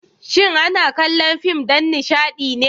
shin ana kallo fim dan Nishadine?